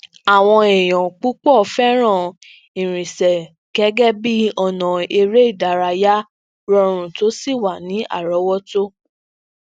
awọn eeyan pupọ fẹran irinsẹ gẹgẹ bi ọna ere idaraya rọrun to si wa ni arọwọto